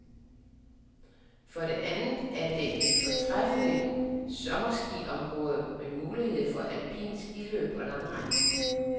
For det andet er det et fortræffeligt sommerskiområde med mulighed for alpint skiløb og langrend.